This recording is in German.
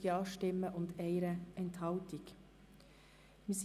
Sie haben auch diesen Antrag abgelehnt.